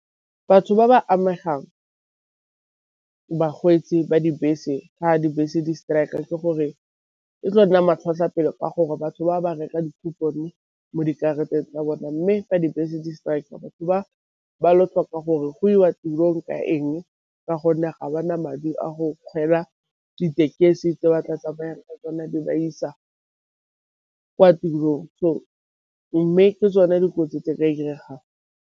Batho ba ba amegang bakgweetsi ba dibese ga dibese di strike-a ke gore e tla nna matlhothapelo ka gore batho ba ba rekang mo dikarateng tsa bona, mme ba dibese di strike-a batho ba ba ile go tlhoka gore go iwa tirong ka eng ka gonne ga ba na madi a go ditekesi tse ba tla tsamayang ka tsone di ba isa kwa tirong, so mme ke tsone dikotsi tse ka diregang.